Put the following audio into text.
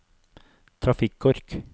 trafikkork